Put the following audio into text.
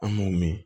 An m'o mɛn